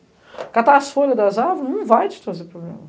catar as folhas das árvores não vai te trazer problema.